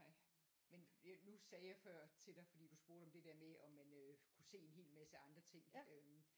Men nu sagde jeg før til dig fordi du spurgte om det der med om man øh kunne se en hel masse andre ting